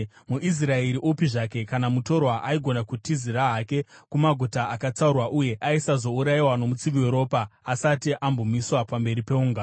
MuIsraeri upi zvake kana mutorwa aigona kutizira hake kumaguta akatsaurwa uye aisazourayiwa nomutsivi weropa asati ambomiswa pamberi peungano.